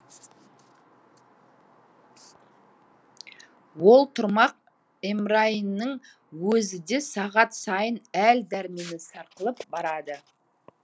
ол тұрмақ эмрайиннің өзі де сағат сайын әл дәрмені сарқылып барады